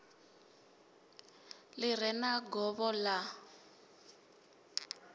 ḽi re na govho ḽa